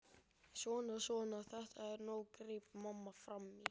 Svona, svona, þetta er nóg greip mamma fram í.